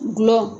Gulɔ